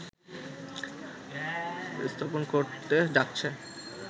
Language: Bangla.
স্থাপন করতে যাচ্ছে